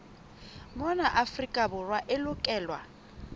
mona afrika borwa e lokelwa